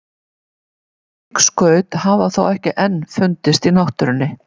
Slík skaut hafa þó ekki enn fundist í náttúrunni.